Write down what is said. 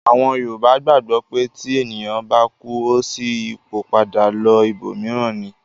Àwọn Yorùbá gbàgbọ́ pé tí ènìyàn bá kú, ó ṣí ipò padà lọ ibòmíràn ni